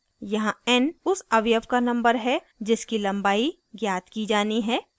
यहाँ n उस अवयव का number है जिसकी लम्बाई ज्ञात की जानी है